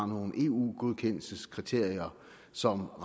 nogle eu godkendelseskriterier som